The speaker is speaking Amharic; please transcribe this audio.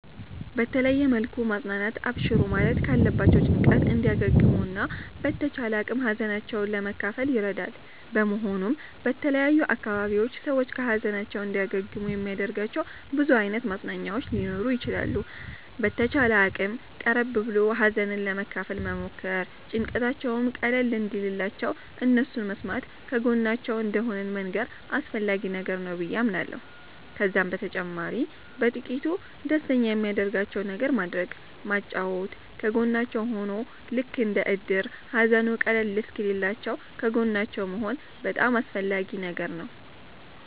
በተለየ መልኩ ማፅናናት አብሽሩ ማለት ካለባቸዉ ጭንቀት እንዲያገግሙ እና በተቻለ አቅም ሀዘናቸዉን ለመካፈል ይረዳል በመሆኑም በተለያዩ አካባቢዎች ሰዎች ከ ሀዘናቸዉ እንዲያገግሙ የሚያደርጋቸዉ ብዙ አይነት ማፅናኛዎች ሊኖሩ ይችላሉ። በተቻለ አቅም ቀረብ ብሎ ሀዘንን ለመካፈል መሞከር ጭንቀታቸዉም ቀለል እንዲልላቸዉ እነሱን መስማተ ከጎናቸዉ እንደሆንን መንገር አስፈላጊ ነገር ነዉ በዬ አምናለሁ። ከዛም በተጨማሪ በጥቂቱ ደስተኛ የሚያደርጋቸዉን ነገር ማድረግ ማጫወት ከጎናቸዉ ሁኖ ልክ እንደ እድር ሃዘኑ ቀለል እሰወኪልላችዉ ከጎናቸዉ መሆን በጣም አስፈላጊ ነገር ነዉ